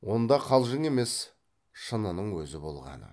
онда қалжың емес шынының өзі болғаны